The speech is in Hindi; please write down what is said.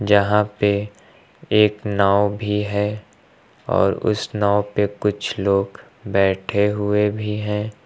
यहां पे एक नाव भी है और उस नाव पे कुछ लोग बैठे हुए भी हैं।